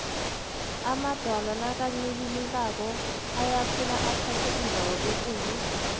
amadwala nakancibilikako ayakhula athathe indawo ekulu